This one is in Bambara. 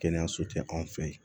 Kɛnɛyaso tɛ anw fɛ yen